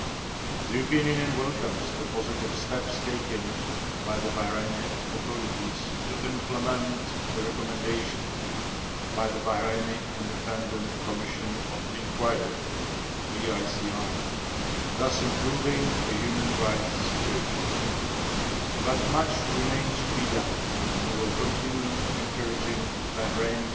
The European Union welcomes the positive steps taken by the Bahraini authorities to implement the recommendations by the Bahraini Independent Commission of Inquiry thus improving the human rights situation, but much remains to be done and we will continue to encourage Bahrain